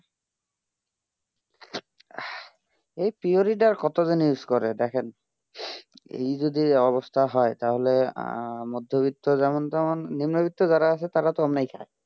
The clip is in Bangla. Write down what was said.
এই puri তা কত দিন use করেন দেখেন এই জড়ো অবস্থা হয়ে তা হলে মাধবীও যেমন তেমন নিম্ন বিকট যারা আছে তারা তো অন্নি খাই